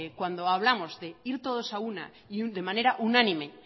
cuando hablamos de ir todos a una y de manera unánime